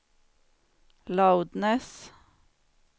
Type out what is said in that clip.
loudness